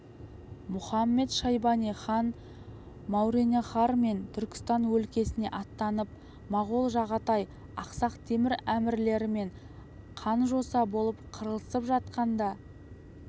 мұхамед-шайбани хан мауреннахр мен түркістан өлкесіне аттанып моғол жағатай ақсақ темір әмірлерімен қан-жоса болып қырылысып жатқанда